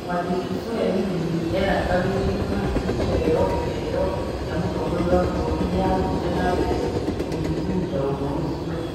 Mwandĩki Swe Win erĩgagĩrĩrũo nĩ kũheo kĩheo kĩa mũtongoria wa bũrũri nĩ aathire na mbere gũthuthuria ũndũ ũcio.